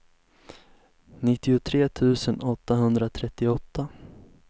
nittiotre tusen åttahundratrettioåtta